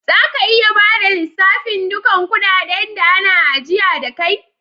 Za ka iya bada lissafin dukan kudaden da ana ajiya da kai?